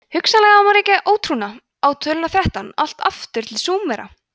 hugsanlega má rekja ótrúna á töluna þrettán allt aftur til súmera